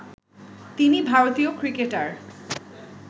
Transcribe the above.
তিনি ভারতীয় ক্রিকেটার